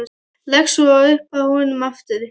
Leggst svo upp að honum aftur.